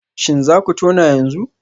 Shin za ku tona yanzu?